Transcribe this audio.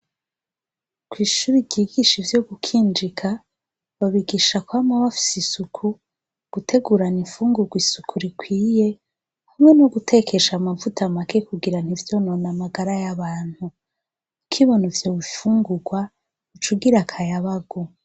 Kw'ishure ryigisha ivyo gukinjika, babigisha kwama bafise isuku. Gutegurana imfungurwa isuku rikwiye hamwe n'ugutekesha amavuta make kugira ntivyonone amagara y'abantu. Ukibona ivyo bifungurwa uca ugira akayabagu.